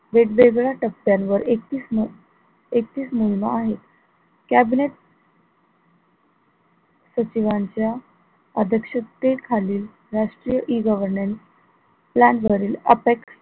वेगवेगळ्या टप्प्यांवर एकतीस म एकतीस मोहीम आहेत cabinet सचिवांच्या अध्यक्षतेखालील राष्ट्रीय E governance यांवरील आपे